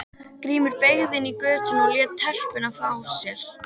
Grímur beygði inn í götuna og lét telpuna frá sér.